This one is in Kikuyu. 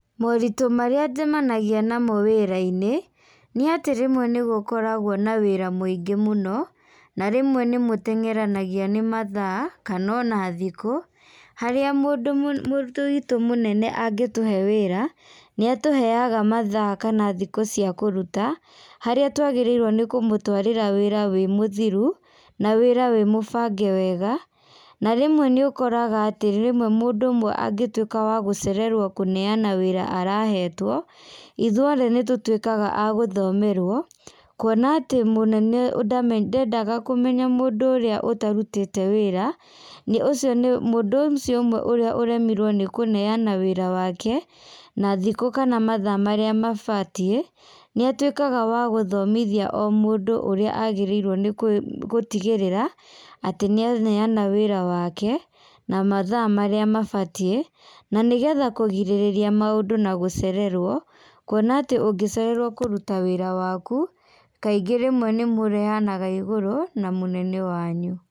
Moritũ marĩa njemanagia namo wĩrainĩ, nĩatĩ rĩmwe nĩgũkoragwo na wĩra mũingĩ mũno, na rĩmwe nĩmũtengeranagia nĩ mathaa kana ona tikũ, harĩa mũndũ mũ mũ mũndũ witũ mũnene angĩtũhe wĩra, nĩatũheaga mathaa kana thikũ cia kũruta, harĩa twagĩrĩirwo nĩ kũmũtwarĩra wĩra wĩ mũthiru, na wĩra wĩ mũbage wega, na rĩmwe nĩũkoraga atĩ rĩmwe mũndũ ũmwe angĩtuĩka wa gũcererwo kũneana wĩra arahetwo, ithuothe nĩtũtuĩkaga a gũthomerwo, kuona atĩ mũnene ndame ndendaga kũmenya mũndũ ũrĩa ũtarutĩte wĩra, nĩ ũcio nĩ mũndũ ũcio ũmwe ũrĩa ũremirwo nĩkũneana wĩra wake, na thikũ kana mathaa marĩa mabatie, nĩatuĩkaga wa gũthomithia o mũndũ ũrĩa agĩrĩirwo nĩgũtigĩrĩra atĩ nĩaneana wĩra wake, na mathaa marĩa mabatie, na nĩgetha kũgirĩrĩria maũndũ na gũcererwo, kuona atĩ ũngĩcererwo kũruta wĩra waku, kaingĩ rĩmwe nĩmũrehanaga igũrũ na mũnene wanyu.